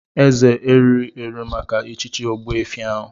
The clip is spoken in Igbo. Eze erughị eru maka echichi ogbuefi ahu.